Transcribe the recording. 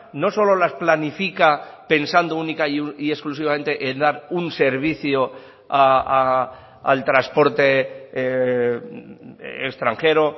no solo las planifica pensando única y exclusivamente en dar un servicio al transporte extranjero